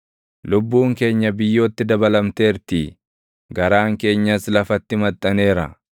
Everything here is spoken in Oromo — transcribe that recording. Lubbuun keenya biyyootti dabalamteertii; garaan keenyas lafatti maxxaneera.